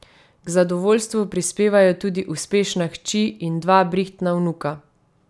K zadovoljstvu prispevajo tudi uspešna hči in dva brihtna vnuka.